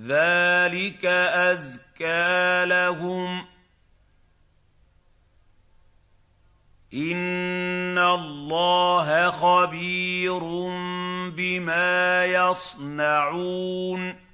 ذَٰلِكَ أَزْكَىٰ لَهُمْ ۗ إِنَّ اللَّهَ خَبِيرٌ بِمَا يَصْنَعُونَ